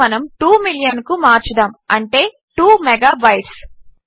దీనిని మనము 2 మిలియన్కు మార్చుదాము అంటే 2 మెగాబైట్స్